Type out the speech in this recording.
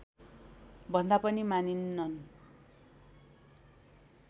भन्दा पनि मानिनन्